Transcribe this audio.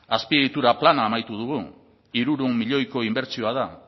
azpiegitura plana amaitu dugu hirurehun milioiko inbertsioa da